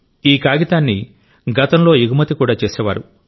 ఈ కాగితాన్ని గతంలో ఎగుమతి కూడా చేసేవారు